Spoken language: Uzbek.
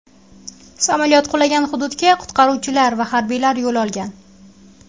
Samolyot qulagan hududga qutqaruvchilar va harbiylar yo‘l olgan.